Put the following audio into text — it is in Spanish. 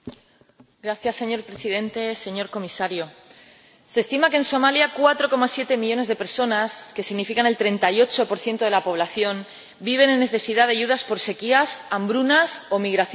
Señor Presidente, señor Comisario, se estima que en Somalia 4,7 millones de personas —que significa el 38 de la población— viven con necesidad de ayudas por sequías, hambrunas o migraciones forzadas.